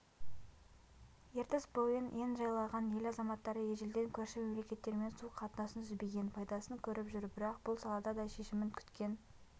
ертіс бойын ен жайлаған ел азаматтары ежелден көрші мемлекеттермен су қатынасын үзбеген пайдасын көріп жүр бірақ бұл салада да шешімін күткен